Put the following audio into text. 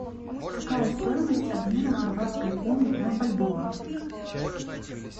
какая стоимость обмена хорватской куны на бальбоа